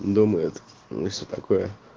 думает ну и все такое